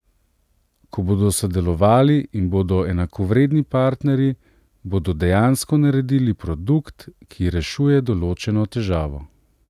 Ko bodo sodelovali in bodo enakovredni partnerji, bodo dejansko naredili produkt, ki rešuje določeno težavo.